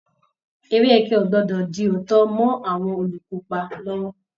Eré ẹkẹ ò gbọdọ̀ di òótọ́ mọ́ àwọn olùkópa lọ́wọ́